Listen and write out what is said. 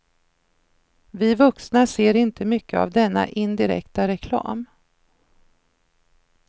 Vi vuxna ser inte mycket av denna indirekta reklam.